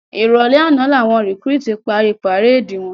Iròlè àná lá wòn rikúrútú pári párédi wòn